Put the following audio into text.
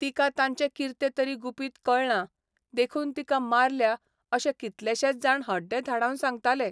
तिका तांचे किर्ते तरी गुपीत कळ्ळां देखून तिका मारल्या अशे कितलेशेच जाण हड्डे धाडावन सांगतालें.